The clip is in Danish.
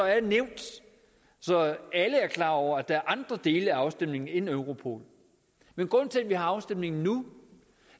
er nævnt så alle er klar over at der er andre dele af afstemningen end europol men grunden til at vi har afstemning nu